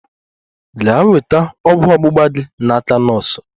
Gaa nweta ọgwụ ọgbugba gi n'aka nọọsụ!